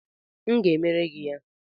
M ga-emere gị ya